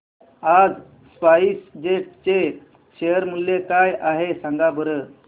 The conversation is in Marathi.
आज स्पाइस जेट चे शेअर मूल्य काय आहे सांगा बरं